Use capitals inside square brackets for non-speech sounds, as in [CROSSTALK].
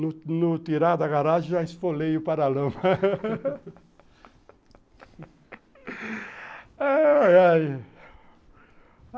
no tirar da garagem, já esfolei o para-lama. [LAUGHS]